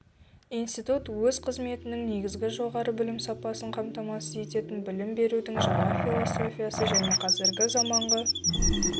институт өз қызметін негізіне жоғары білім сапасын қамтамасыз ететін білім берудің жаңа философиясы және қазіргі заманғы